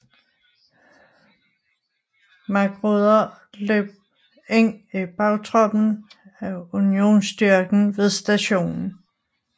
Magruder løb ind i bagtroppen af Unionsstyrken ved Stationen